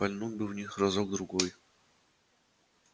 пальнуть бы в них разок другой